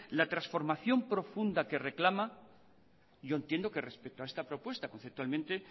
la transformación profunda que reclama yo entiendo que respecto a esta propuesta conceptualmente